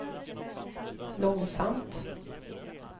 långsamt